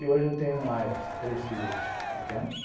E hoje eu tenho mais três filhos pequenos.